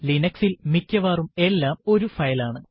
Linux ൽ മിക്കവാറും എല്ലാം ഒരു ഫയൽ ആണ്